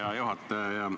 Hea juhataja!